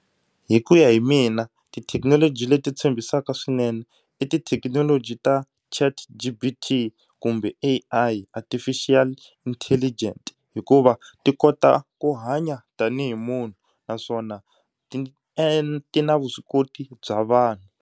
Hi ku ya hi mina tithekinoloji leti tshembisaka swinene i tithekinoloji ta chat g_b_t kumbe A_I artificial intelligent hikuva ti kota ku hanya tanihi munhu naswona ti ti na vuswikoti bya vanhu.